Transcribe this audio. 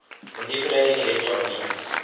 manipulating electron beams